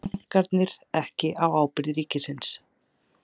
Bankarnir ekki á ábyrgð ríkisins